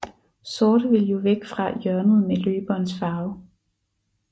Sort vil jo væk fra hjørnet med løberens farve